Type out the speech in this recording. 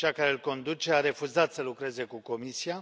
Cea care îl conduce a refuzat să lucreze cu Comisia.